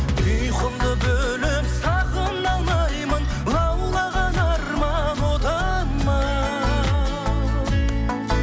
ұйқымды бөліп сағына алмаймын лаулаған арман отым ау